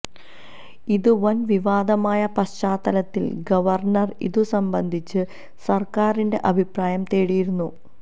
ഇത് വന് വിവാദമായ പശ്ചാത്തലത്തില് ഗവര്ണര് ഇതു സംബന്ധിച്ച് സര്ക്കാരിന്റെ അഭിപ്രായം തേടിയിരുന്നു